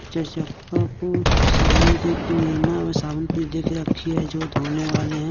चार चक्का को साबुन दे के नीरमा और साबुन पूरी देख रखी है जो धोने वाले हैं।